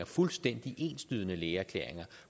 fuldstændig enslydende lægeerklæringer